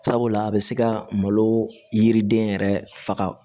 Sabula a bɛ se ka malo yiriden yɛrɛ faga